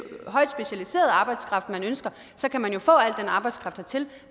højt specialiseret arbejdskraft man ønsker så kan man jo få al den arbejdskraft hertil